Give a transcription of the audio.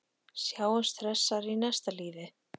Sjáumst hressar í næsta lífi.